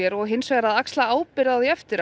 og hins vegar að axla ábyrgð eftir á